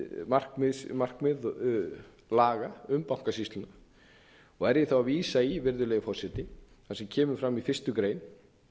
laga um bankasýsluna og er ég þá að vísa í virðulegi forseti það sem kemur fram í fyrstu grein